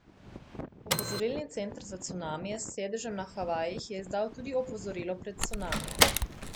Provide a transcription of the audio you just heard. Opozorilni center za cunamije s sedežem na Havajih je izdal tudi opozorilo pred cunamijem.